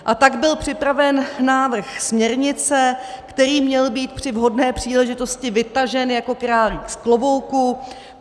A tak byl připraven návrh směrnice, který měl být při vhodné příležitosti vytažen jako králík z klobouku.